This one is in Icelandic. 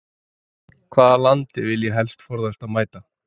Hvaða landi vil ég helst forðast að mæta?